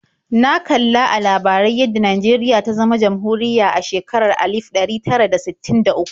Na kali a labarai yadda Najeriya ta zama jamhuriya a shekarar alif ɗari tara da sittin da uku.